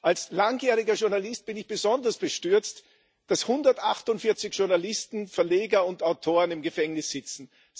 Als langjähriger Journalist bin ich besonders bestürzt, dass 148 Journalisten, Verleger und Autoren im Gefängnis sitzen.